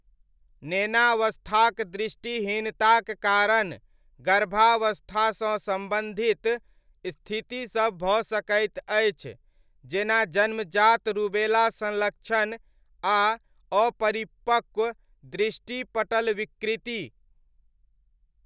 नेनावस्थाक दृष्टिहीनताक कारण गर्भावस्थासँ सम्बन्धित स्थितिसब भऽ सकैत अछि, जेना जन्मजात रूबेला संलक्ष्ण आ अपरिपक्व दृष्टि पटल विकृति।